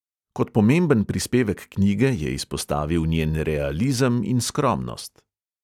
Kot pomemben prispevek knjige je izpostavil njen realizem in skromnost.